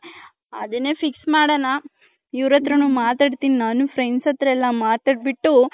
ಅದುನ್ನೇ fix ಮಾಡನ .ಇವರ್ ಅತ್ರನು ಮಾತಾಡ್ತೀನಿ ನಾನು friends ಅತ್ರ ಎಲ್ಲಾ ಮಾತಾಡಬಿಟ್ಟು .